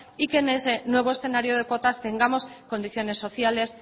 y que en ese nuevo escenario de cuotas tengamos condiciones sociales